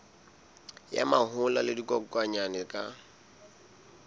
ya mahola le dikokwanyana ka